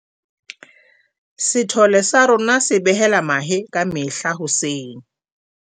sethole sa rona se behela mahe ka mehla hoseng